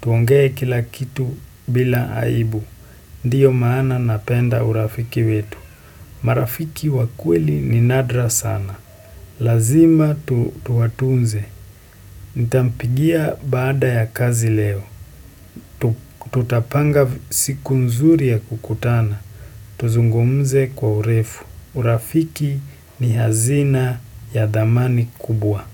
tuongee kila kitu bila aibu, ndiyo maana napenda urafiki wetu. Marafiki wakweli ni nadra sana, lazima tuwatunze, nitampigia baada ya kazi leo, tutapanga siku nzuri ya kukutana, tuzungumze kwa urefu, urafiki ni hazina ya dhamani kubwa.